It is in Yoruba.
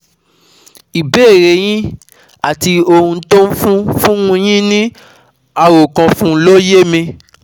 Ìbéèrè e yín àti ohun tó ń fún fún un yín ní àròkànfún ló yé mi